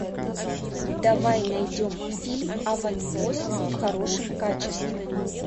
давай найдем фильм аванпост в хорошем качестве